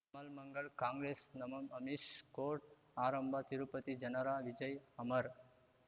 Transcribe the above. ಮಲ್ ಮಂಗಳ್ ಕಾಂಗ್ರೆಸ್ ನಮ್ ಅಮಿಷ್ ಕೋರ್ಟ್ ಆರಂಭ ತಿರುಪತಿ ಜನರ ವಿಜಯ್ ಅಮರ್